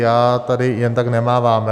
Já tady jen tak nemávám.